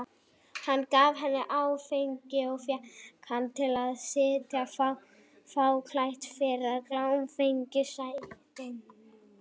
Hann gaf henni áfengi og fékk hana til að sitja fáklædda fyrir í klámfengnum stellingum.